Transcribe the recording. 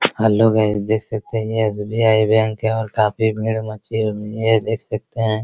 Hello guys देख सकते हैं ये एस.बी.आई. बैंक है और काफी भीड़ मची हुई है ये देख सकते है ।